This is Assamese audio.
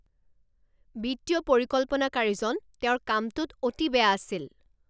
বিত্তীয় পৰিকল্পনাকাৰীজন তেওঁৰ কামটোত অতি বেয়া আছিল